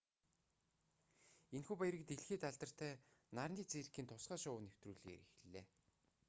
энэхүү баярыг дэлхийд алдартай нарны циркийн тусгай шоу нэвтрүүлгээр эхэллээ